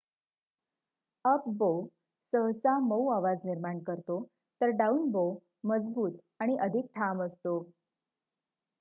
up bow सहसा मऊ आवाज निर्माण करतो तर डाऊन-बो मजबूत आणि अधिक ठाम असतो